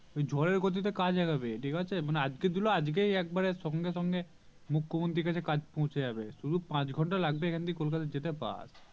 ঝড়ের গতিতে কাজ আগাবে ঠিকাছে মানে আজকে দিলো আজকেই একবারে সঙ্গে সঙ্গে মুখ্যমন্ত্রী এর কাছে কাজ পৌঁছে যাবে শুধু পাঁচ ঘন্টা শুধু পাঁচ ঘন্টা লাগেব এখন থেকে কলকাতা যেতে বাস